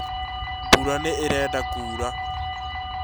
Mbura nĩĩrenda kũra